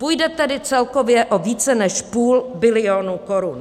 Půjde tedy celkově o více než půl bilionu korun.